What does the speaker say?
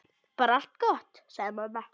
Bara allt gott, sagði mamma.